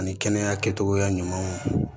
Ani kɛnɛya kɛcogoya ɲumanw